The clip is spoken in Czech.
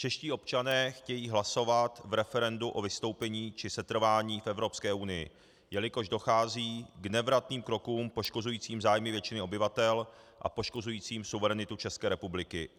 Čeští občané chtějí hlasovat v referendu o vystoupení či setrvání v Evropské unii, jelikož dochází k nevratným krokům poškozujícím zájmy většiny obyvatel a poškozujícím suverenitu České republiky.